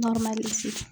Barama sigi